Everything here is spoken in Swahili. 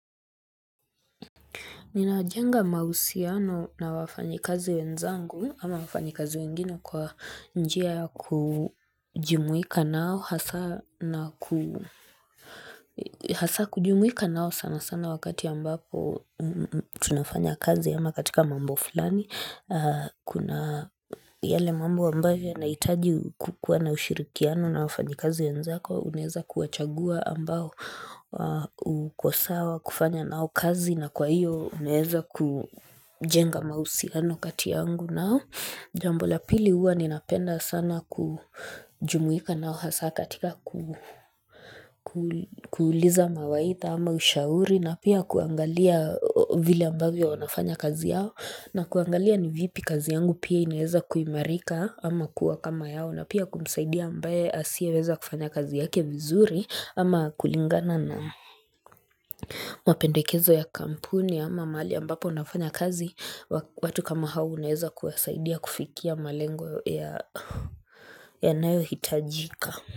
Ninajenga mahusiano na wafanyikazi wenzangu ama wafanyikazi wengine kwa njia ya kujumuika nao hasa na ku hasa kujumuika nao sana sana wakati ambapo tunafanya kazi ama katika mambo fulani. Kuna yale mambo ambayo yanahitaji kuwa na ushirikiano na wafanyikazi wenzako. Unaweza kuwachagua ambao uko sawa kufanya nao kazi na kwa hiyo unaweza kujenga mahusiano kati yangu nao Jambo la pili huwa ninapenda sana kujumuika nao hasa katika kuuliza mawaidha ama ushauri na pia kuangalia vile ambavyo wanafanya kazi yao na kuangalia ni vipi kazi yangu pia ineeza kuimarika ama kuwa kama yao na pia kumsaidia ambaye asie weza kufanya kazi yake vizuri ama kulingana na mapendekezo ya kampuni ama mahali ambapo unafanya kazi watu kama hao unaweza kuwasaidia kufikia malengo yanayohitajika.